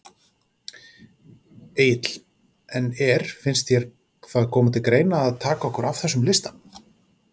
Egill: En er, finnst þér það koma til greina að taka okkur af þessum lista?